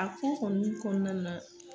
A ko kɔni kɔnɔna na